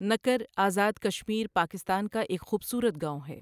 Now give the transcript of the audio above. نکر ازاد کشمیر پاکستان کا ایک خوبصورت گاوں ہے۔